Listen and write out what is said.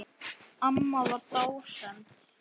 Amma var dásemd.